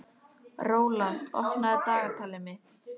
Rólant, opnaðu dagatalið mitt.